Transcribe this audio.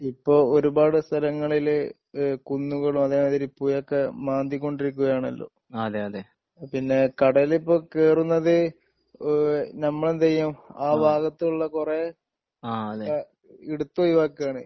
ഇപ്പോ ഒരുപാട് സ്ഥലങ്ങളില് ഏഹ് കുന്നുകളും അതേമാതിരി പുഴയൊക്കെ മാന്തി കൊണ്ടിരിക്കുകയാണല്ലോ പിന്നെ കടലിപ്പോ കേറുന്നത് ഏഹ് നമ്മളെന്തു ചെയ്യും ആ ഭാഗത്തുള്ള കുറേ എടുത്ത് ഒഴിവാക്കുവാണ്‌